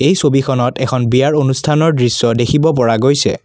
এই ছবিখনত এখন বিয়াৰ অনুষ্ঠানৰ দৃশ্য দেখিব পৰা গৈছে।